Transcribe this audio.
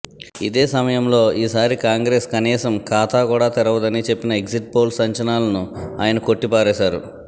ఇదే సమయంలో ఈసారి కాంగ్రెస్ కనీసం ఖాతా కూడా తెరవదని చెప్పిన ఎగ్జిట్పోల్స్ అంచనాలను ఆయన కొట్టిపారేశారు